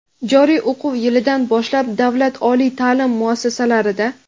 Joriy o‘quv yilidan boshlab davlat oliy taʼlim muassasalarida:.